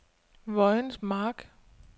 Vojens Mark